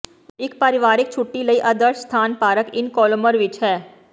ਇੱਕ ਪਰਿਵਾਰਕ ਛੁੱਟੀ ਲਈ ਆਦਰਸ਼ ਸਥਾਨ ਪਾਰਕ ਇਨ ਕੋਲੋਮਰ ਵਿੱਚ ਹੈ